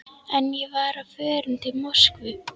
En ég var á förum til Moskvu.